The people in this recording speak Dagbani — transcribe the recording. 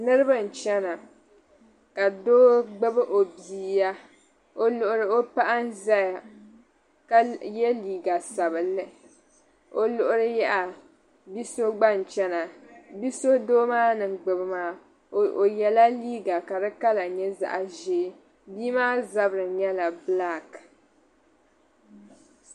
Niriba n-chana ka doo gbibi o bia o luɣili o paɣa n-zaya ka ye liiga sabilinli o luɣili yaha bi' so gba n-chana. Bi' so doo maa ni gbibi maa o yɛla liiga ka di kala nyɛ zaɣ' ʒee. Bia maa zabiri nyɛla bilaaki.